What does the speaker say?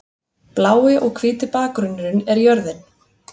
Blái og hvíti bakgrunnurinn er jörðin.